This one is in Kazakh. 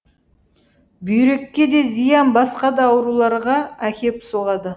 бүйрекке де зиян басқа да ауруларға әкеп соғады